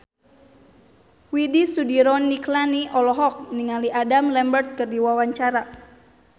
Widy Soediro Nichlany olohok ningali Adam Lambert keur diwawancara